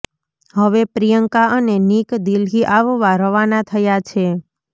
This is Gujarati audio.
હવે પ્રિયંકા અને નિક દિલ્હી આવવા રવાના થયા છે